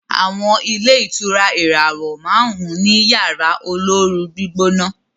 àwọn ilé ìtura ìràwọ márùn ní Yàrá olóoru-gbígbóná.